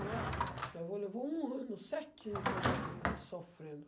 Nossa, meu avô levou um ano certinho para morrer sofrendo.